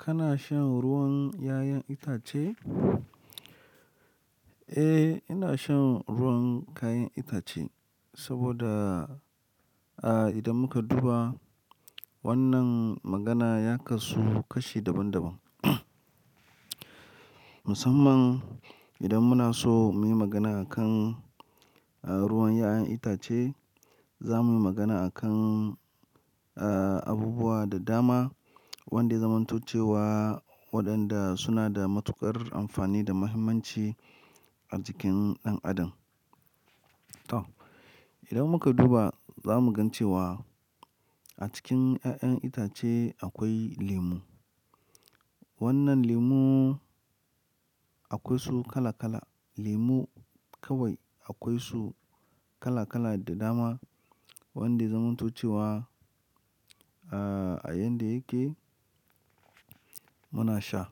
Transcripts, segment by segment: Kana shan ruwan 'ya'yan itace? Eh, ina shan ruwan kayan itace saboda, a idan muka duba wannan magana ya kasu kashi daban-daban. Musamman idan muna so muyi magana akan a ruwan 'ya'yan itace, za muyi magana akan a abubuwa da dama wanda yazamanto cewa waɗanda suna da matuƙar amfani da muhimmanci a jikin ɗan adam. To, idan muka duba za mu gan cewa a cikin 'ya'yan itace akwai lemu. Wannan lemu akwai su kala-kala, lemu kawai akwai su kala-kala da dama wanda yazamanto cewa a a yanda yake muna sha.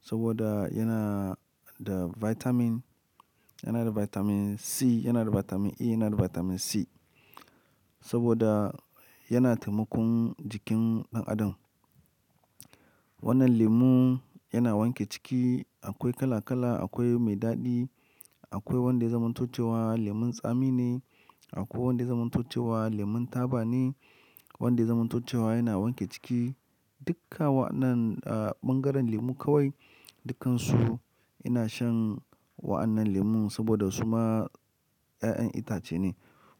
Saboda yana da vitamin, yana da vitamin C, yana da vitamin E, yana da vitamin C. Saboda yana taimakon jikin ɗan adam. Wannan lemu yana wanke ciki, akwai kala-kala, akwai mai daɗi, akwai wanda yazamanto cewa lemun tsami ne, akwai wanda yazamanto cewa lemun taba ne, wanda yazamanto cewa yana wanke ciki. Dukka wannan a ɓangaren lemu kawai dukkansu ina shan wa'annan lemun saboda su ma 'ya'yan itace ne,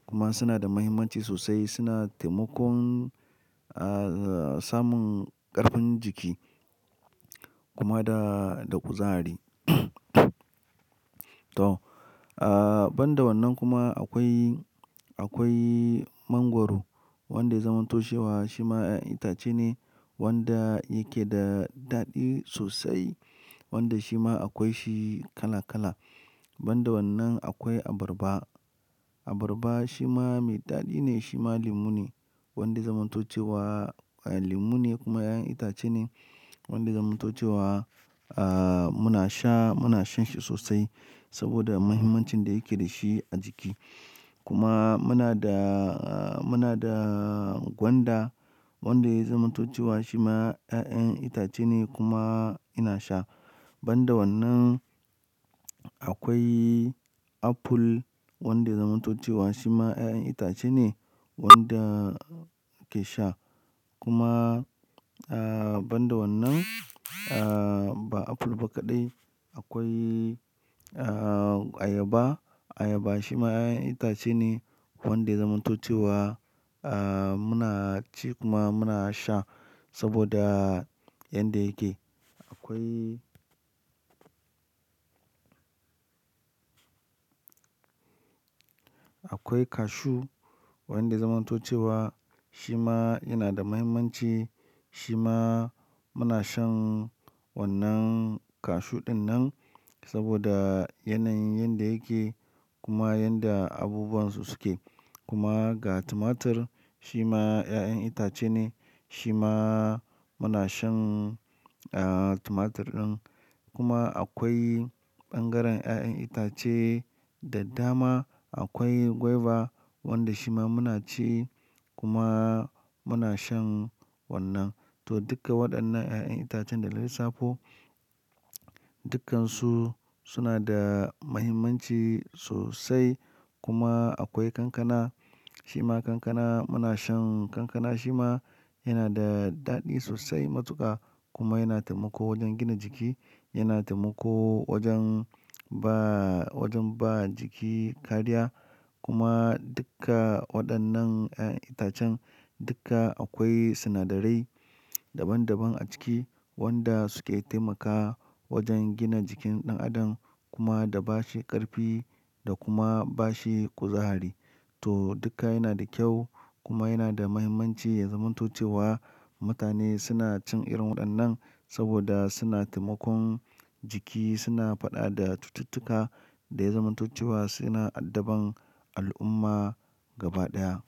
kuma suna da muhimmanci sosai, suna taimakon a samun ƙarfin jiki kuma da, da kuzari. To, a ban da wannan kuma akwai, akwai mangwaro wanda yazamanto cewa shi ma 'ya'yan itace ne wanda yake da daɗi sosai, wanda shi ma akwai shi kala-kala. Ban da wannan akwai abarba. Abarba shi ma mai daɗi ne, shi ma lemu ne wanda yazamanto cewa lemu ne kuma 'ya'yan itace ne wanda yazamanto cewa a muna sha, muna shan shi sosai saboda muhimmancin da yake dashi a jiki. Kuma muna da, muna da gwanda wanda yazamanto cewa shi ma 'ya'yan itace ne kuma ina sha. Ban da wannan akwai apple wanda yazamanto cewa shi ma 'ya'yan itace ne wanda ake sha. Kuma a ban da wannan a ba apple ba kaɗai akwai a ayaba. Ayaba shi ma 'ya'yan itace ne wanda zamanancewa a muna ci kuma muna sha saboda yanda yake. Akwai, akwai cashew wanda yazamanato cewa shi ma yana da muhimmanci, shi ma muna shan wannan cashew ɗin nan saboda yanayin yanda yake kuma yanda abubuwan su suke. Kuma ga tumatur shi ma 'ya'yan itace ne, shi ma muna shan a tumatur ɗin. Kuma akwai ɓangaren 'ya'yan itace da dama. Akwai guava wanda shi ma muna ci kuma muna shan wannan. To, duka waɗannan 'ya'yan itacen da na lissafo dukkansu suna da muhimmanci sosai. Kuma akwai kankana, shi ma kankana muna shan kankana shi ma yana da daɗi sosai matuƙa kuma yana taimako wajen gina jiki, yana taimako wajen ba wajen ba jiki kariya. Kuma duka waɗannan 'ya'yan itacen duka akwai sinadarai daban daban a ciki wanda suke taimaka wajen gina jikin ɗan adam kuma da bashi ƙarfi da kuma bashi kuzari. To, duka yana da kyau kuma yana da muhimmanci a yazamanto cewa mutane suna cin irin waɗannan saboda suna taimakon jiki, suna faɗa da cututtuka da yazamanto cewa suna addaban al'umma gaba ɗaya.